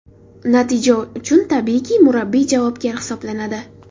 Natija uchun tabiiyki, murabbiy javobgar hisoblanadi.